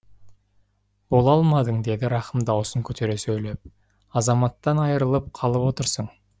бола алмадың деді рақым дауысын көтере сөйлеп азаматтан айырылып қалып отырсың